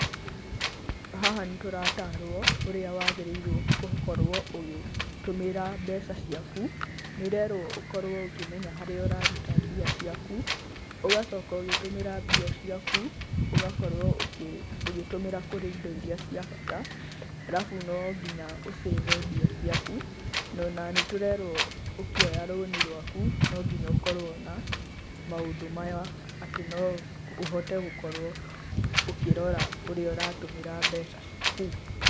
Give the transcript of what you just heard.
Haha nĩ tũratarwo ũrĩa wagĩrĩirwo gũkorwo ũgĩtũmĩra mbeca ciaku, nĩ ũrerwo ũkorwo ũkĩmenya harĩa ũraruta mbia ciaku, ũgacoka ũgĩtũmĩra mbia ciaku ũgakorwo ũgĩtũmĩra kũrĩ indo iria cia bata arabu no nginya ũ save mbia ciaku no na nĩtũrerwo ũkĩoya loan rwaku, no nginya ũkorwo na maũndũ maya atĩ no ũhote gũkorwo ũkĩrora ũrĩa ũratũmĩra mbeca ciaku.